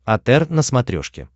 отр на смотрешке